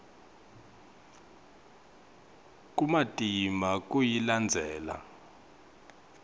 kumatima kuyilandzela